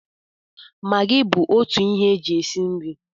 Magi bụ otu ihe e ji esi nri